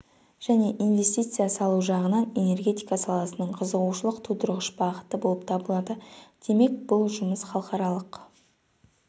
және инвестиция салу жағынан энергетика саласының қызығушылық тудырғыш бағыты болып табылады демек бұл жұмыс халықаралық